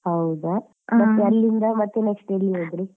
ಹೌದಾ ಮತ್ತೆ ಅಲ್ಲಿಂದ ಮತ್ತೆ next ಎಲ್ಲಿ ಹೋದ್ರಿ?